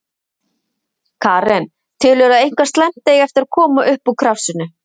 Karen: Telurðu að eitthvað slæmt eigi eftir að koma upp úr krafsinu?